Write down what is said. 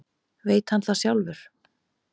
Veit hann það sjálfur?